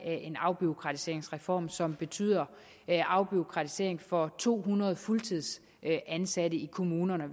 en afbureaukratiseringsreform som betyder afbureaukratisering for to hundrede fuldtidsansatte i kommunerne